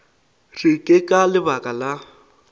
re ke ka lebaka la